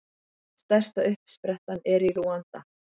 Stærsta uppsprettan er í Rúanda.